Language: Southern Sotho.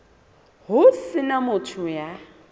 ho se na motho ya